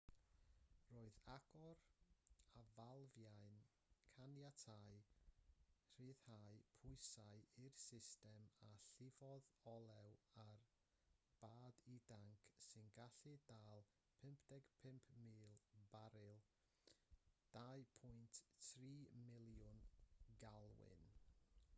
roedd agor y falfiau'n caniatáu rhyddhau pwysau i'r system a llifodd olew ar bad i danc sy'n gallu dal 55,000 baril 2.3 miliwn galwyn